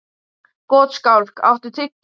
Gottskálk, áttu tyggjó?